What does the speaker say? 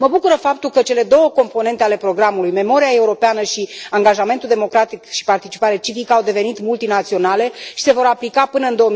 Mă bucură faptul că cele două componente ale programului, memoria europeană și angajamentul democratic și participare civică, au devenit multinaționale și se vor aplica până în